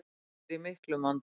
Alþingi er í miklum vanda.